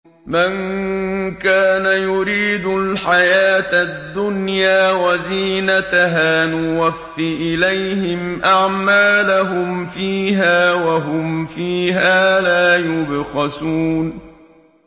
مَن كَانَ يُرِيدُ الْحَيَاةَ الدُّنْيَا وَزِينَتَهَا نُوَفِّ إِلَيْهِمْ أَعْمَالَهُمْ فِيهَا وَهُمْ فِيهَا لَا يُبْخَسُونَ